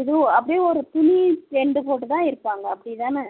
இது அப்படியே ஒரு துணி tent போட்டுத்தான் இருப்பாங்க அப்படித்தான